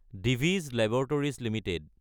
Divi's laboratories Ltd